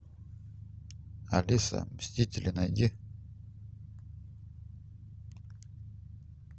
алиса мстители найди